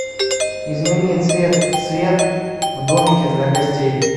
измени цвет свет в домике для гостей